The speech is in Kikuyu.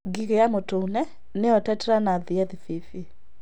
Ngigĩ ya mũtune (Tetranychus spp.)